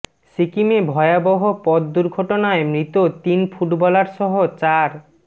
সিকিমে ভয়াবহ পথ দুর্ঘটনায় মৃত তিন ফুটবলার সহ চার